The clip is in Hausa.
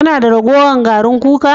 Kana da ragowar garin kuka?